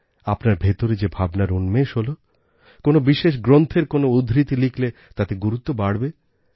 আপনার ভেতরে যে ভাবনার উন্মেষ হল কোনও বিশেষ গ্রন্থের কোনও উদ্ধৃতি লিখলে তাতে গুরুত্ব বাড়বে